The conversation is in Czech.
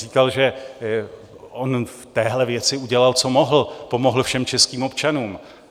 Říkal, že on v téhle věci udělal, co mohl, pomohl všem českým občanům.